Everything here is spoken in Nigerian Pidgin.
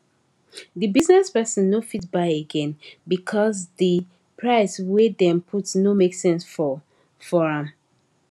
di business person no fit buy again because di price wey dem put no make sense for for am